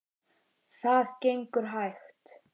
Það gengur hægt.